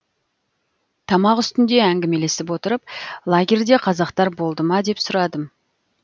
тамақ үстінде әңгімелесіп отырып лагерьде қазақтар болды ма деп сұрадым